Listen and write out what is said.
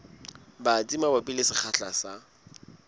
batsi mabapi le sekgahla sa